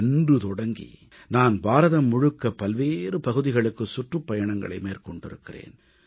அன்று தொடங்கி நான் பாரதம் முழுக்க பல்வேறு பகுதிகளுக்கு சுற்றுப்பயணங்களை மேற்கொண்டிருக்கிறேன்